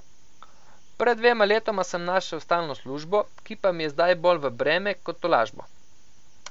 Pred dvema letoma sem našel stalno službo, ki pa mi je zdaj bolj v breme kot tolažbo.